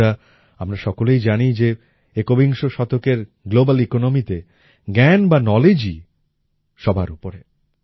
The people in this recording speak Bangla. বন্ধুরা আমরা সকলেই জানি যে একবিংশ শতকের গ্লোবাল Economyতে জ্ঞান বা Knowledgeই সবার উপরে